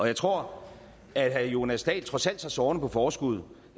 jeg tror at herre jonas dahl trods alt tager sorgerne på forskud